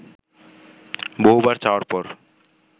বহুবার চাওয়ার পর